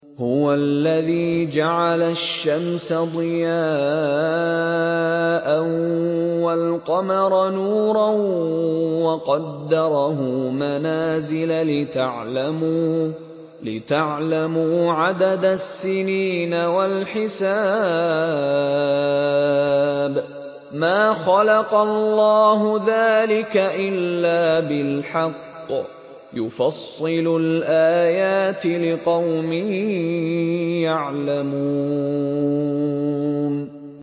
هُوَ الَّذِي جَعَلَ الشَّمْسَ ضِيَاءً وَالْقَمَرَ نُورًا وَقَدَّرَهُ مَنَازِلَ لِتَعْلَمُوا عَدَدَ السِّنِينَ وَالْحِسَابَ ۚ مَا خَلَقَ اللَّهُ ذَٰلِكَ إِلَّا بِالْحَقِّ ۚ يُفَصِّلُ الْآيَاتِ لِقَوْمٍ يَعْلَمُونَ